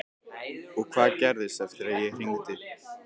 Og hvað gerðist eftir að ég hringdi?